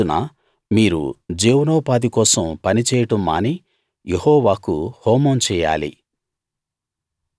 ఆ రోజున మీరు జీవనోపాధి కోసం పని చేయడం మాని యెహోవాకు హోమం చేయాలి